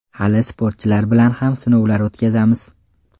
Hali sportchilar bilan ham sinovlar o‘tkazamiz.